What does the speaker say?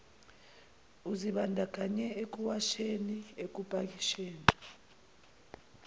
uzibandakanye ekuwasheni ekupakisheni